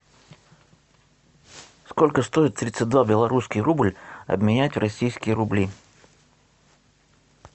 сколько стоит тридцать два белорусский рубль обменять в российские рубли